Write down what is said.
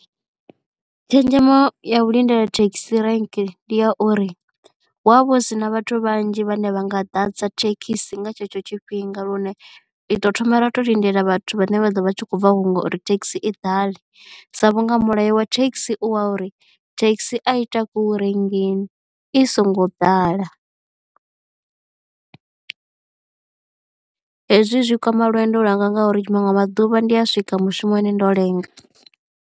Tshenzhemo ya u lindela thekhisi rank ndi ya uri hu a vha hu sina vhathu vhanzhi vhane vha nga ḓadza thekhisi nga tshetsho tshifhinga lune ri ḓo thoma ra tou lindela vhathu vhane vha ḓo vha tshi khou bva hunwe uri thekhisi i ḓale sa vhunga mulayo wa thekhisi u wa uri thekhisi a ita ku murengi i songo ḓala. Hezwi zwi kwama lwendo lwanga nga uri manwe maḓuvha ndi a swika mushumoni ndo lenga.